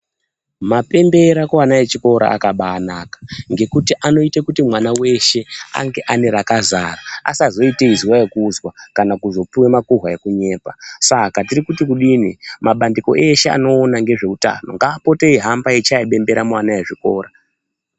Mapembera kuana echikora akabaanaka ngekuti anoite kuti kumwana veshe ange ane rakazara asazoite izwa okuzwa kana kuzopiwa makuhwa ekunyepa saka tirikuti kudini mabandiko eshe anoona ngezveutano ngaapote eihamba eichaya bembera muana ezvikora.